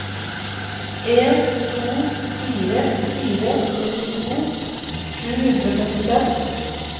en to fire fire sekstito sju hundre og femtifem